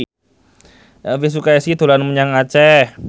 Elvy Sukaesih dolan menyang Aceh